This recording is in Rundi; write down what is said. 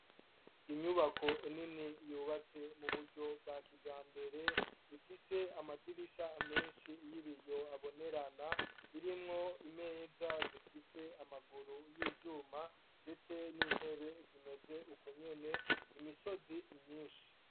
Inyubako nini yubatse mu buryo bwa kija mbere ifise amadirisha menshi y'ibiyo abonerana irimwo imeza zifise amaguru y'ivyuma, ndetse n'intebe zimeze uko nyene imisozi myinshi.